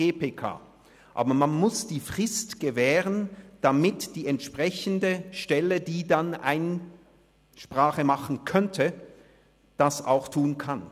Aber man muss die Frist gewähren, damit die entsprechende Stelle, die dann Einsprache machen könnte, das auch tun kann.